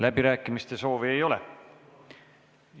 Läbirääkimiste soovi ei ole.